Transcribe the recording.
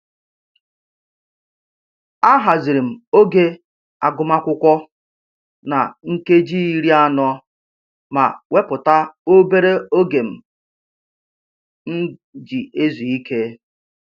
Ahaziri m oge agụmakwụkwọ na nkeji iri anọ ma wepụta obere oge m ji ezu ike